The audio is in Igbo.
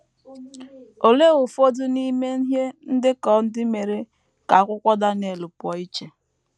Olee ụfọdụ n’ime ihe ndekọ ndị mere ka akwụkwọ Daniel pụọ iche?